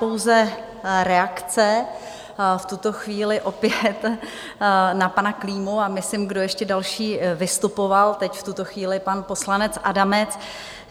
Pouze reakce v tuto chvíli opět na pana Klímu, a myslím, kdo ještě další vystupoval teď v tuto chvíli - pan poslanec Adamec.